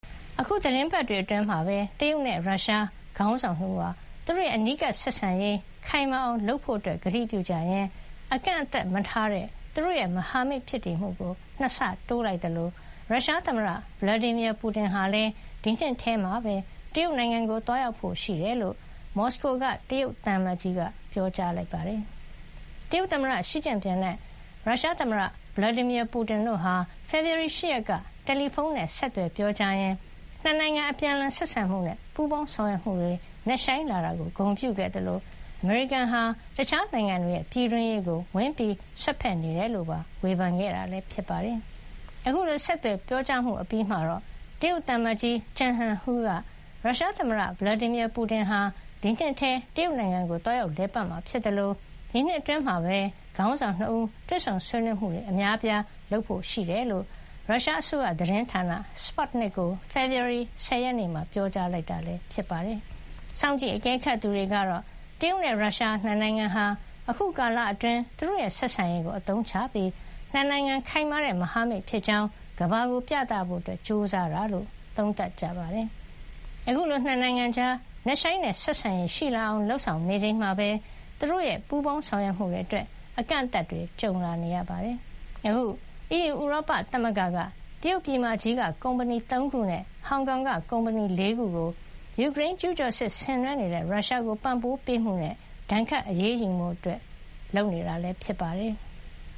အခု သီတင်းပတ်တွေအတွင်းမှာပဲ တရုတ်နဲ့ရုရှားခေါင်းဆောင်နှစ်ဦးဟာ သူတို့ရဲ့အနီးကပ်ဆက်ဆံရေး ခိုင်မာအောင်လုပ်ဖို့ကတိပြုကြရင်း အကန့်အသတ်မထားတဲ့ သူတို့ရဲ့မဟာမိတ်ဖြစ်မှုကို နှစ်ဆတိုးလိုက်သလို ရုရှားသမ္မတ Vladimir Putin ဟာလည်း ဒီနှစ်ထဲမှာပဲ တရုတ်နိုင်ငံကို သွားရောက်ဖို့ရှိတယ်လို့ မော်စကိုက တရုတ်သံအမတ်ကြီးက ပြောကြားခဲ့ပါတယ်။ တရုတ်သမ္မတရှီကျင့်ပင်နဲ့ ရုရှားသမ္မတ Putin တို့ဟာ ဖေဖေါ်ဝါရီ ၈ ရက်က တယ်လီဖုံးနဲ့ ဆက်သွယ်ပြောကြားရင်းနှစ်နိုင်ငံ အပြန်အလှန် ဆက်ဆံမှုနဲ့ ပူးပေါင်းဆောင်ရွက်မှုတွေ နက်ရှိုင်းလာတာကို ဂုဏ်ပြုခဲ့သလို အမေရိကန်ဟာ တခြားနိုင်ငံတွေရဲ့ပြည်တွင်းရေးကို ဝင်ရောက်စွက်ဖက်နေတယ်လို့ပါ ဝေဖန်ခဲ့တာပါ။ အခုလို ဆက်သွယ်ပြောကြားအပြီးမှာ တရုတ်သံအမတ်ကြီး ကျန်ဟန်ဟူး က ရုရှားသမ္မတ Putin ဟာ ဒီနှစ်ထဲ တရုတ်နိုင်ငံကိုသွားရောက်လည်ပတ်မှာဖြစ်သလို ဒီနှစ်အတွင်း ခေါင်းဆောင် ၂ ဦး တွေ့ဆုံဆွေးနွေးမှု အများအပြား ပြုလုပ်ဖို့ ရှိကြောင်း ရုရှားအစိုးရသတင်းဌာန Sputnik ကို ဖေဖေါ်ဝါရီ ၁၀ ရက်နေ့မှာ ပြောကြားလိုက်တာဖြစ်ပါတယ်။ စောင့်ကြည့် အကဲခတ်သူတွေကတော့ တရုတ်နဲ့ရုရှားနှစ်နိုင်ငံဟာ အခုကာလအတွင်း သူတို့ရဲ့ ဆက်ဆံရေးကိုအသုံးချပြီး နှစ်နိုင်ငံခိုင်မာတဲ့ မဟာမိတ်ဖြစ်ကြောင်း ကမ္ဘာကိုပြသဖို့ ကြိုးစားတာလို့ သုံးသပ်ကြပါတယ်။ အခုလိုနှစ်နိုင်ငံကြား နက်ရှိုင်းတဲ့ဆက်ဆံရေးရှိလာအောင် လုပ်ဆောင်နေချိန်မှာပဲ သူတို့ရဲ့ ပူးပေါင်းဆောင်ရွက်မှုအတွက် အကန့်အသတ်တွေ ကြုံနေရတာပါ။ အခု အီးယူ-ဥရောပသမဂ္ဂက တရုတ်ပြည်မကြီးက ကုမ္မဏီသုံးခုနဲ့ ဟောင်ကောင်က ကုမ္ပဏီလေးခုကို ယူကရိန်းကျူးကျော်စစ်ဆင်နွှဲနေတဲ့ ရုရှားကိုပံ့ပိုးမှုနဲ့ ဒဏ်ခတ်အရေးယူဖို့ လုပ်နေတာဖြစ်ပါတယ်။